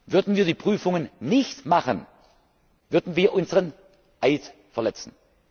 Würden wir die Prüfungen nicht machen, würden wir unseren Eid verletzen.